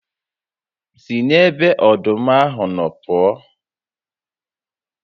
Si n'ebe ọdụm ahụ nọ pụọ